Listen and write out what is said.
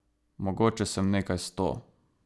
Mogoče sem nekaj sto.